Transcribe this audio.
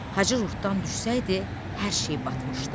Hacı ruhdan düşsəydi, hər şey batmışdı.